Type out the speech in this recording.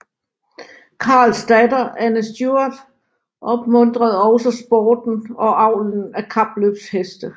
Karls datter Anne Stuart opmuntrede også sporten og avlen af kapløbheste